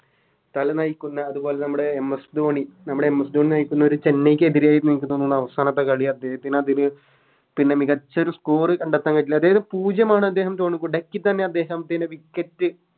തല നയിക്കുന്ന അതുപോലെ നമ്മുടെ MS ധോണി നമ്മുടെ MS ധോണി നയിക്കുന്ന ഒര് ചെന്നൈക്ക് എതിരായി അവസാന കളി അദ്ദേഹത്തിന് അതൊരു പിന്നെ മികച്ചൊരു Score കണ്ടെത്താപറ്റില്ല അതായത് പൂജ്യമാണ് അദ്ദേഹം duck തന്നെ അദ്ദേഹം ചില Wicket